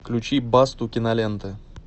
включи басту кинолента